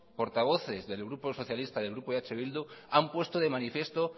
portavoces del grupo socialista y del grupo eh bildu han puesto de manifiesto